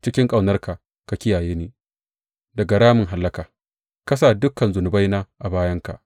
Cikin ƙaunarka ka kiyaye ni daga ramin hallaka; ka sa dukan zunubaina a bayanka.